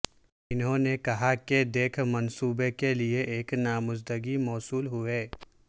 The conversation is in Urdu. انہوں نے کہا کہ دکھ منصوبے کے لئے ایک نامزدگی موصول ہوئے